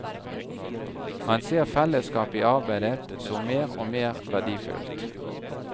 Han ser fellesskap i arbeidet som mer og mer verdifullt.